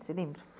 Você lembra?